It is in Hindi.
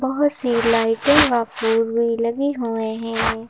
बहुत सी लाइटें और पोल भी लगे हुआ है।